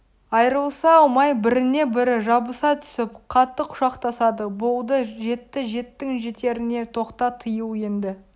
айрылыса алмай біріне бірі жабыса түсіп қатты құшақтасады болды жетті жеттің жетеріңе тоқта тыйыл енді